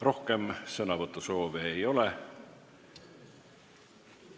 Rohkem sõnavõtusoove ei ole.